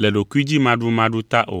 le ɖokuidzimaɖumaɖu ta o.